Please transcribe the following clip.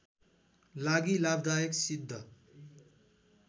लागि लाभदायक सिद्ध